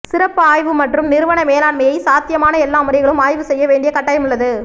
சிறப்பு ஆய்வு மற்றும் நிறுவன மேலாண்மை சாத்தியமான எல்லா முறைகளும் ஆய்வு செய்ய வேண்டிய கட்டாயம் உள்ளது